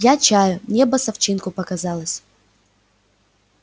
я чаю небо с овчинку показалось